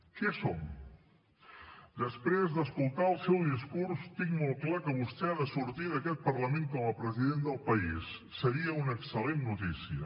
què som després d’escoltar el seu discurs tinc molt clar que vostè ha de sortir d’aquest parlament com a president del país seria una excel·lent notícia